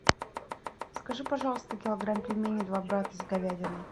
закажи пожалуйста килограмм пельменей два брата с говядиной